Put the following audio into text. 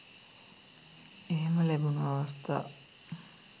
එහෙම ලැබුණු අවස්ථා